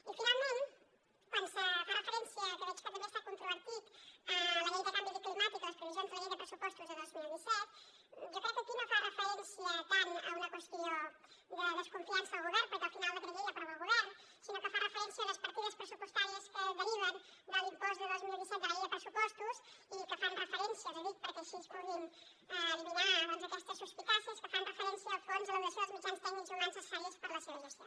i finalment quan se fa referència que veig que també ha estat controvertit a la llei de canvi climàtic les previsions de la llei de pressupostos de dos mil disset jo crec que aquí no fa referència tant a una qüestió de desconfiança del govern perquè al final el decret llei l’aprova el govern sinó que fa referència a unes partides pressupostàries que deriven de l’impost de dos mil disset de la llei de pressupostos i que fan referència els hi dic perquè així puguin eliminar aquestes suspicàcies al fons a la dotació dels mitjans tècnics i humans necessaris per la seva gestió